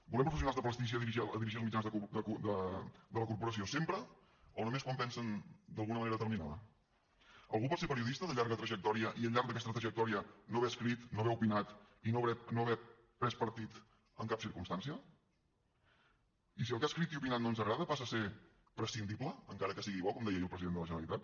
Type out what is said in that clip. volem professionals de prestigi a dirigir els mitjans de la corporació sempre o només quan pensen d’alguna manera determinada algú pot ser periodista de llarga trajectòria i al llarg d’aquesta trajectòria no haver escrit no haver opinat i no haver pres partit en cap circumstància i si el que ha escrit i ha opinat no ens agrada passa a ser prescindible encara que sigui bo com deia ahir el president de la generalitat